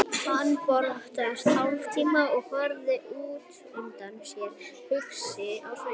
Fanný brosti hálfmæðulega og horfði út undan sér, hugsi á svip.